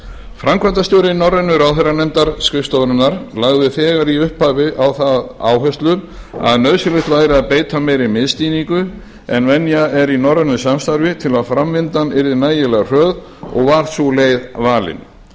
framkvæmdastjóri norrænu ráðherranefndarskrifstofunnar lagði þegar í upphafi á það áherslu að nauðsynlegt væri að beita meiri miðstýringu en venja er í norrænu samstarfi til að framvindan yrði nægilega hröð og var sú leið valin